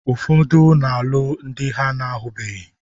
Ụfọdụ na-alụ ndị ha na-ahụbeghị.